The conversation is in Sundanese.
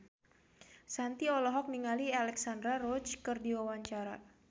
Shanti olohok ningali Alexandra Roach keur diwawancara